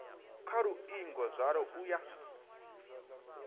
kha luingo zwalo u ya